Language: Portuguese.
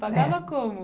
Pagava como?